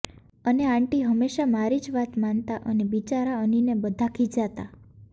અને આંટી હમેશા મારી જ વાત માનતા અને બિચારા અનિને બધાં ખીજાતાં